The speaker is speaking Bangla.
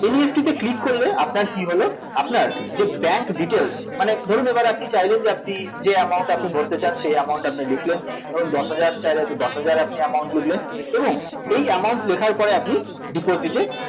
NEFT তে click করলে আপনার কী হল আপনার যে bank details মানে ধরুন এবার আপনি চাইলেন যে আপনি যে amount আপনি ভরতে চান সেই amount আপনি লিখলেন ধরুন দশহাজার চাইলে তো দশহাজার আপনি amount লিখলেন এবং এই amount লেখার পরে আপনি deposit এ